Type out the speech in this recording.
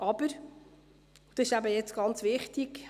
Aber – das ist jetzt sehr wichtig: